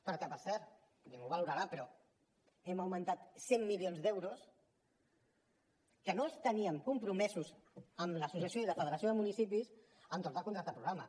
perquè per cert ningú ho valorarà però hem augmentat cent milions d’euros que no els teníem compromesos amb l’associació i la federació de municipis entorn del contracte programa